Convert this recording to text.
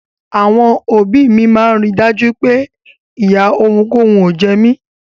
Àwọn òbí mi máa ń rí i dájú pé ìyà ohunkóhun ò jẹ mí.